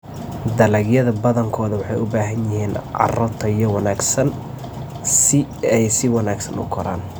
Dalagyada badankoodu waxay u baahan yihiin carro tayo wanaagsan si ay si wanaagsan u koraan.